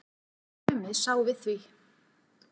En Tumi sá við því.